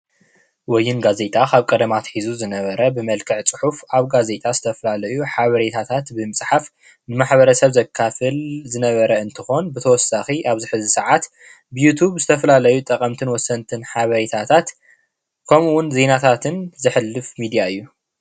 ወይን ጋዜጣ ካብ ቀደማ አትሒዙ ዝነበረ ብመልክዕ ፅሑፍ ኣብ ካዜጣ ዝተፈላለዩ ሓበሬታት ብምፅሓፍ ንማሕበረሰብ ዘካፍል ዝነበረ እንትኮን ብተወሳኪ ኣብዚ ሕዚ ሰዓት ብዩቱብን ብዝተፈላለዩ ጠቀምትን ወሰንትን ሓበሬታት ከምኡ እውን ዜናታትን ዘሕልፍ ሚድያ እዩ፡፡